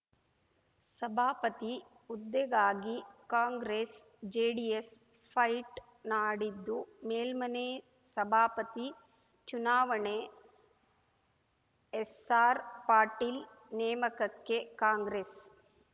ಸಭಾಪತಿ ಹುದ್ದೆಗಾಗಿ ಕಾಂಗ್ರೆಸ್‌ ಜೆಡಿಎಸ್‌ ಫೈಟ್‌ ನಾಡಿದ್ದು ಮೇಲ್ಮನೆ ಸಭಾಪತಿ ಚುನಾವಣೆ ಎಸ್ಸಾರ್‌ ಪಾಟೀಲ್‌ ನೇಮಕಕ್ಕೆ ಕಾಂಗ್ರೆಸ್‌